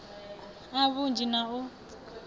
a vhunzhi na a u